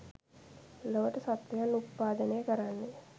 ලොවට සත්වයන් උප්පාදනය කරන්නේ